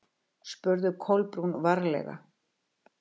spurði Kolbrún varlega.